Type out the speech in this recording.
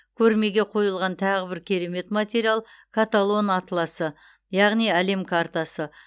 көрмеге қойылған тағы бір керемет материал каталон атласы яғни әлем картасы